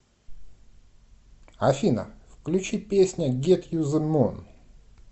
афина включи песня гет ю зе мун